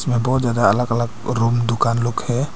और बहोत जादा अलग अलग रूम दुकान लोग है।